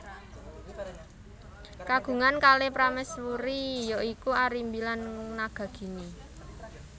Kagungan kalih prameswuri ya iku Arimbi dan Nagagini